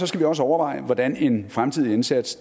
skal vi også overveje hvordan en fremtidig indsats